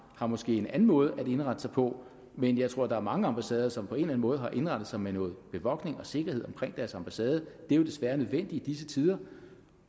har måske en anden måde at indrette sig på men jeg tror der er mange ambassader som på en eller anden måde har indrettet sig med noget bevogtning og sikkerhed omkring deres ambassade det er jo desværre nødvendigt i disse tider